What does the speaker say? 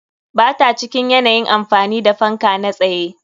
Ba ta cikin yanayin amfani da fanka na tsaye.